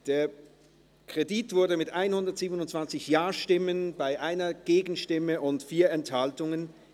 Der Kredit wurde genehmigt, mit 127 Ja-Stimmen gegen 1 Nein-Stimme bei 4 Enthaltungen.